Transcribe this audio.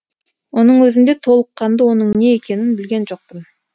оның өзінде толыққанды оның не екенін білген жоқпын